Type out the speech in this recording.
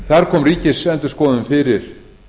þar kom ríkisendurskoðun fyrir